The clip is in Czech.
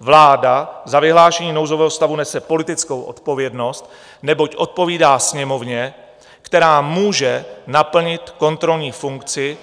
Vláda za vyhlášení nouzového stavu nese politickou odpovědnost, neboť odpovídá Sněmovně, která může naplnit kontrolní funkci